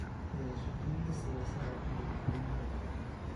Wadashaqeynta siyaasadda iyo dadweynaha waa muhiim.